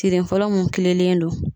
Tiri fɔlɔ mun kilenlen don